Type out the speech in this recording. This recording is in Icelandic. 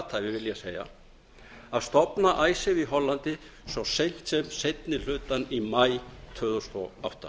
athæfi vil ég segja að stofna icesave í hollandi svo seint sem seinni hlutann í maí tvö þúsund og átta